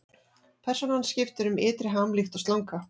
Persónan skiptir um ytri ham líkt og slanga.